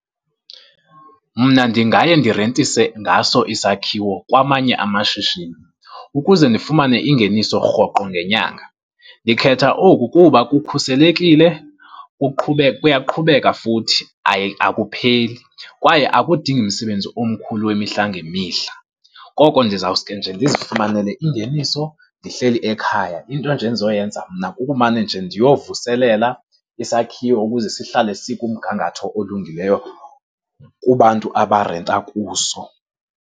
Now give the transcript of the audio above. Mna ndingaye ndirentise ngaso isakhiwo kwamanye amashishini ukuze ndifumane ingeniso rhoqo ngenyanga. Ndikhetha oku kuba kukhuselekile, kuyaqhubeka futhi aye akupheli. Kwaye akudingi msebenzi umkhulu wemihla ngemihla, koko ndizawusuke nje ndizifumanele ingeniso ndihleli ekhaya. Into nje endizokuyenza mna kukumane nje ndiyovuselela isakhiwo ukuze sihlale sikumgangatho olungileyo kubantu abarenta kuso.